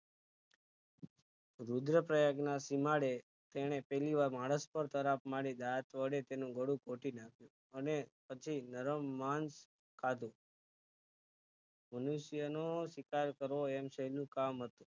રુદ્ર પ્રયાગ ના સીમાડે તેને પહેલીવાર માણસ પર તરાપ મારી દાંત વડે તેનું ગાળું ઘોટી નાખ્યું તું અને પછી નરમ માંસ ખાધું મનુષ્યનો શિકાર કરવો એમ સહેલું કામ હતું